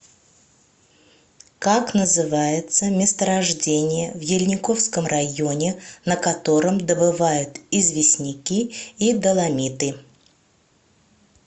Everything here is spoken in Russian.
как называется месторождение в ельниковском районе на котором добывают известняки и доломиты